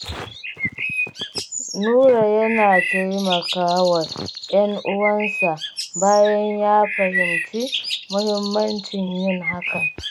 Nura yana taimaka wa 'yan uwansa, bayan ya fahimci muhimmancin yin hakan.